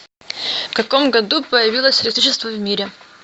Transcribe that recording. в каком году появилось электричество в мире